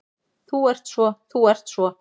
Þú ert svo. þú ert svo.